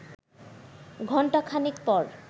ঘণ্টা খানেক পর